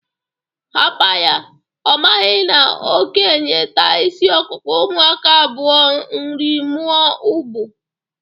Hapa ya, ọ maghị na okenye taa isi ọkụkụ, ụmụaka a bụa nrị mụọ ụbụ.